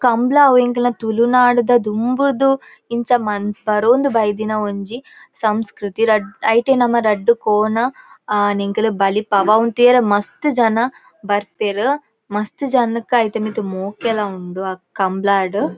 ಕಂಬ್ಳ ಅವ್ ಎಂಕಲ್ನ ತುಳುನಾಡ್ ಡ್ ದುಂಬುದ್ ಇಂಚ ಮಂ ಬರೋಂದು ಬೈದಿನ ಒಂಜಿ ಸಂಸ್ಕೃತಿ ರಡ್ ಐಟ್ ನಮ ರಡ್ಡ್ ಕೋಣ ಆನ್ ಎಂಕುಲು ಬಲಿಪಾವ ಇಂದು ತೂಯೆರೆ ಮಸ್ತ್ ಜನ ಬರ್ಪೆರ್ ಮಸ್ತ್ ಜನಕ್ ಐತ ಮಿತ್ ಮೋಕೆಲ ಉಂಡು ಆ ಕಂಬ್ಳಡ್.